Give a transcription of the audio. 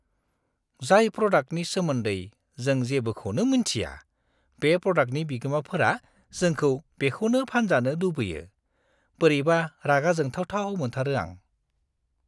जाय प्रडाक्टनि सोमोन्दै जों जेबोखौनो मोनथिया बे प्रडाक्टनि बिगोमाफोरा जोंखौ बेखौनो फानजानो लुबैयो, बोरैबा रागा जोंथावथाव मोनथारो आं!